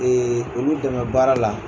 olu dɛmɛ baara la.